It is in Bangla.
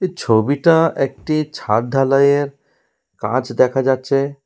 এ ছবিটা একটি ছাদ ঢালাইয়ের কাজ দেখা যাচ্ছে।